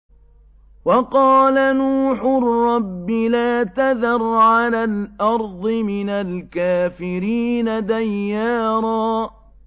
وَقَالَ نُوحٌ رَّبِّ لَا تَذَرْ عَلَى الْأَرْضِ مِنَ الْكَافِرِينَ دَيَّارًا